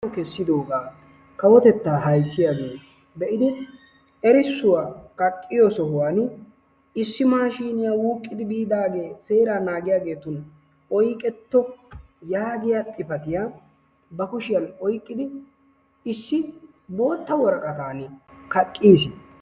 Pude kessidoogaa kawotettaa ayssiyaagee erissuwaa kaqqiyoo sohuwaan issi maashiniyaa wuuqidi biidaagee seeraa naagissiyaagetun oyqqeto yaagiyaa xifaatiyaa ba kushshiyaan oyqqidi issi bootta woraqaatani kaaqqiis.